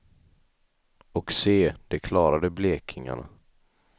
Och se, det klarade blekingarna.